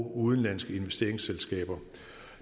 og udenlandske investeringsselskaber